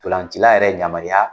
Ndolancila yɛrɛ yamaruya